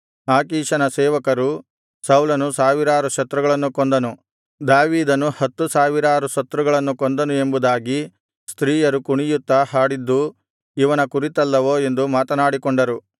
ಆಕೀಷನ ಸೇವಕರು ಸೌಲನು ಸಾವಿರಾರು ಶತ್ರುಗಳನ್ನು ಕೊಂದನು ದಾವೀದನು ಹತ್ತು ಸಾವಿರಾರು ಶತ್ರುಗಳನ್ನು ಕೊಂದನು ಎಂಬುದಾಗಿ ಸ್ತ್ರೀಯರು ಕುಣಿಯುತ್ತಾ ಹಾಡಿದ್ದು ಇವನ ಕುರಿತಲ್ಲವೋ ಎಂದು ಮಾತನಾಡಿಕೊಂಡರು